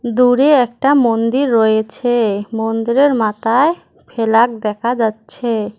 দূরে একটা মন্দির রয়েছে মন্দিরের মাথায় ফেলাগ দেখা যাচ্ছে।